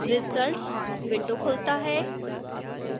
results window खुलता है